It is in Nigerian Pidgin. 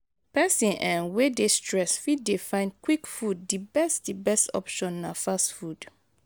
person um wey dey stressed fit dey find quick food di best di best option na fast food